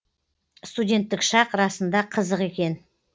студенттік шақ расында қызық екен